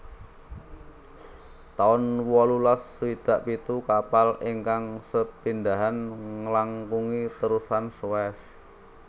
taun wolulas swidak pitu Kapal ingkang sepindhahan nglangkungi Terusan Suez